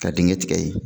Ka dingɛ tigɛ ye